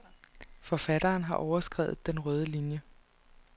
Forfatteren har overskredet en rød linie.